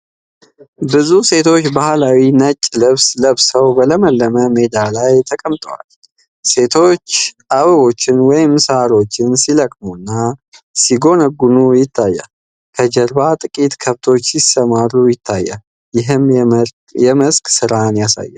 ብዙ ሴቶች ባህላዊ ነጭ ልብስ ለብሰው በለመለመ ሜዳ ላይ ተቀምጠዋል። ሴቶቹ አበቦችን ወይም ሳሮችን ሲለቅሙና ሲያጎነጉኑ ይታያል። ከጀርባ ጥቂት ከብቶች ሲሰማሩ ይታያሉ፤ ይህም የመስክ ሥራን ያሳያል።